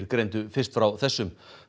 greindu fyrst frá þessu